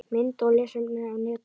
Mynd og lesefni á netinu